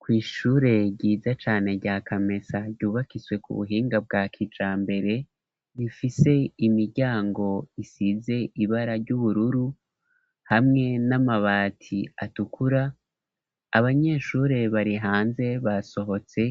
Kw'ishure ryiza cane rya Kamesa ryubakiswe ku buhinga bwa kijambere rifise imiryango isize ibara ry'ubururu hamwe n'amabati atukura. Abanyeshure bari hanze basohotse